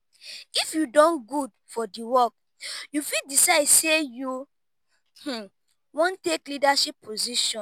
if you don good for di work you fit decide sey you wan take leadership position